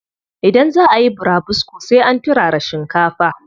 Idan zaa ayi burabusko sai an turara shinkafa.